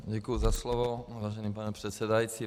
Děkuji za slovo, vážený pane předsedající.